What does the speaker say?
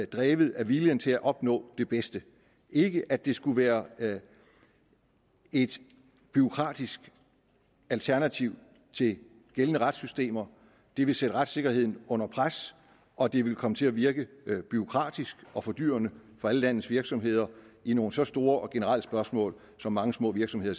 drevet af viljen til at opnå det bedste ikke at det skulle være et bureaukratisk alternativ til gældende retssystemer det ville sætte retssikkerheden under pres og det ville komme til at virke bureaukratisk og fordyrende for alle landets virksomheder i nogle så store og generelle spørgsmål som mange små virksomheder